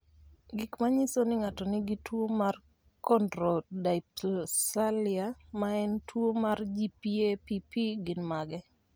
Gik manyiso ni ng'ato nigi tuwo mar chondrodysplasia, ma en tuwo mar GPAPP, gin mage?